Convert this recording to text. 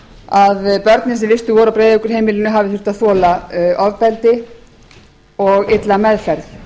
að börnin sem vistuð voru á breiðavíkurheimilinu hafi þurft að þola ofbeldi og illa meðferð